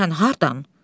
Sən hardan?